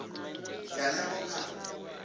ya nyambo kha